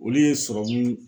Olu ye sɔrɔmu